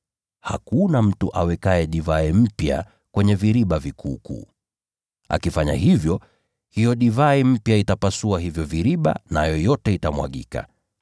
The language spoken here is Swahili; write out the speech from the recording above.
Hakuna mtu awekaye divai mpya kwenye viriba vikuukuu. Akifanya hivyo, hiyo divai mpya itavipasua hivyo viriba, nayo yote itamwagika.